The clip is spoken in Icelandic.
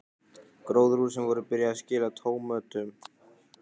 Gróðurhúsin voru byrjuð að skila tómötum.